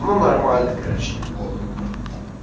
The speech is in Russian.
ну нормально короче неплохо было